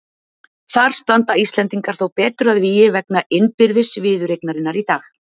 Þar standa Íslendingar þó betur að vígi vegna innbyrðis viðureignarinnar í dag.